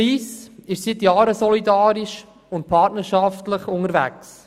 Lyss ist seit Jahren solidarisch und partnerschaftlich unterwegs.